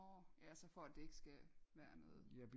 Nårh ja så for det ikke skal være noget